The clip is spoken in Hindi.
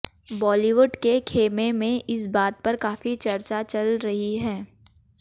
बालीवुड के खेमे मे इस बात पर काफी चर्चा चल रही है